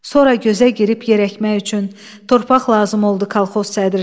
Sonra gözə girib yerəkmək üçün torpaq lazım oldu kolxoz sədrinə.